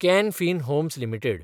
can Fin Homes limited